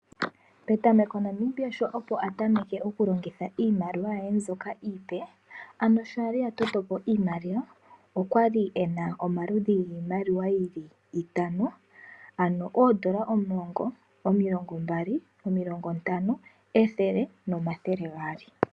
Petameko Namibia sho opo atameke okulongitha iimaliwa ye mbyoka iipe. Ano sho ali atotopo iimaliwa. Okwali ena omaludhi giimaliwa yili itano . Ano oodola omulongo, omilongo mbali, omilongo ntano, ethele nomathele gaali.